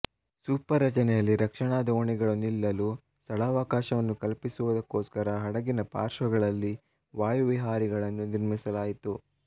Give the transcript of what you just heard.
super ರಚನೆಯಲ್ಲಿ ರಕ್ಷಣಾ ದೋಣಿಗಳು ನಿಲ್ಲಲು ಸ್ಥಳಾವಕಾಶವನ್ನು ಕಲ್ಪಿಸುವುದಕ್ಕೋಸ್ಕರ ಹಡಗಿನ ಪಾರ್ಶ್ವಗಳಲ್ಲಿ ವಾಯುವಿಹಾರಿಗಳನ್ನು ನಿರ್ಮಿಸಲಾಯಿತು